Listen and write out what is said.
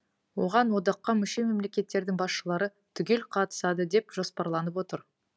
оған одаққа мүше мемлекеттердің басшылары түгел қатысады деп жоспарланып отыр